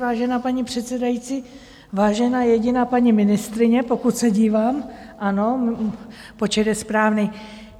Vážená paní předsedající, vážená jediná paní ministryně, pokud se dívám, ano, počet je správný.